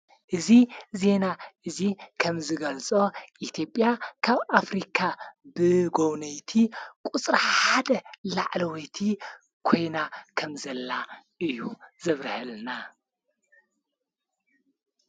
እዚ ዜና እዚ ኸም ዝገልፆ ኢትዮጵያ ካብ ኣፍሪካ ብጐውነይቲ ቊጽራ ሓደ ላዕለወቲ ኮይና ከም ዘላ እዩ ዝብረሀልና::